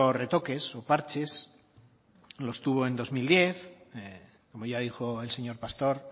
retoques o parches los tuvo en dos mil diez como ya dijo el señor pastor